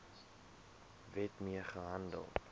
wet mee gehandel